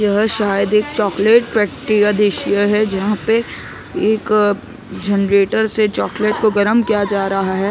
यह शायद एक चॉकलेट फैक्ट्री का दृश्य है जहाँ पे एक जनरेटर से चॉकलेट को गरम किया जा रहा है ।